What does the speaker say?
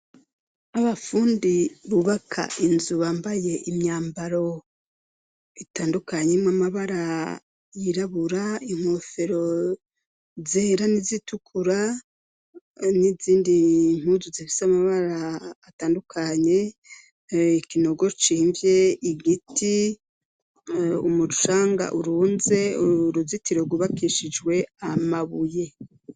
Abafundi bubaka inzu bambaye imyambaro itandukanye y'amabara yirabura, inkofero zera n'izitukura, n'izindi mpuzu zifise amabara atandukanye, ikinogo cimvye, igiti, umucanga urunze, uruzitiro rwubakishijwe amabuye.